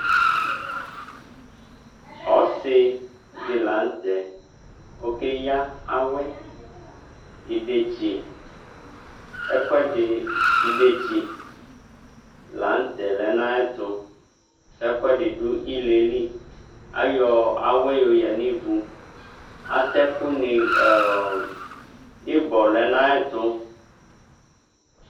Ɔsidɩ la nʊtɛ Okeyǝ awɛ Idetsi la nʊtɛ lɛ nʊ ayʊ ɛtʊ Ɛkʊ ɛdɩ dʊ ile yɛ li Ayɔ awɛ yoyǝ nʊ ivu Atɛ ɛkʊnɩ, ɩbɔ lɛ nʊ ayʊ ɛtʊ